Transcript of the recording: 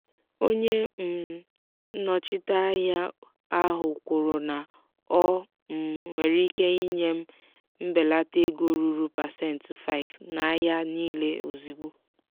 onye um nnọchite ahịa ahụ kwuru na o um nwere ike inye m mbelata ego ruru pasentị 5 na ahịa niile ozigbo.